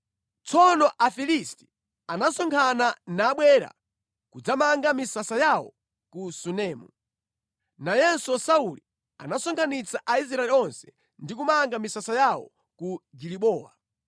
Tsono Afilisti anasonkhana nabwera kudzamanga misasa yawo ku Sunemu. Nayenso Sauli anasonkhanitsa Aisraeli onse ndi kumanga misasa yawo ku Gilibowa.